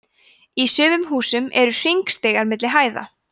í sumum húsum eru hringstigar milli hæða